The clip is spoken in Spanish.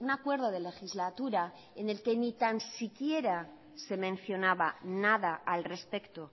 acuerdo de legislatura en el que ni tan siquiera se mencionaba nada al respecto